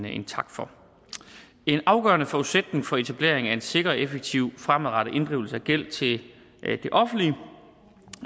en tak for en afgørende forudsætning for etableringen af en sikker og effektiv fremadrettet inddrivelse af gæld til det offentlige